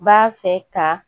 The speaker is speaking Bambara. B'a fɛ ka